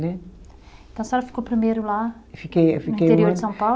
Né. Então a senhora ficou primeiro lá. Fiquei, fiquei um ano. No interior de São Paulo?